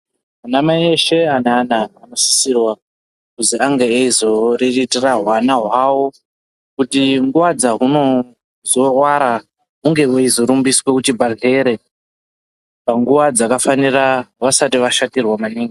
Ana mai eshe ane ana vanosisirwa kuzi vange veizoriritira hwaana hwavo kuitire kuti nguva dzahunozorwara hunge hweizo rumbiswa kuchibhedhlere panguwa dzakafanira vasati vashatirwa maningi.